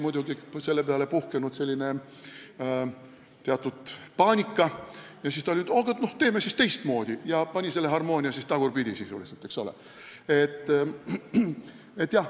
Muidugi olevat seal teatud paanika puhkenud, mille peale ta olevat ütelnud, et teeme siis teistmoodi ja pannud harmoonia sisuliselt tagurpidi.